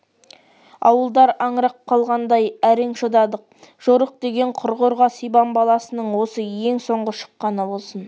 ауылдар аңырап қалғандай әрең шыдадық жорық деген құрғырға сибан баласының осы ең соңғы шыққаны болсын